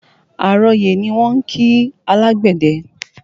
Àrọyè ni wọ́n ń kí alágbẹ̀dẹ